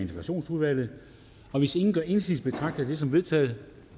integrationsudvalget og hvis ingen gør indsigelse betragter jeg det som vedtaget